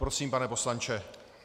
Prosím, pane poslanče.